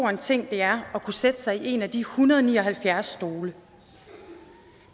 en ting det er at kunne sætte sig i en af de en hundrede og ni og halvfjerds stole